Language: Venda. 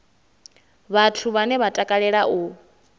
vhathu vhane vha takalea u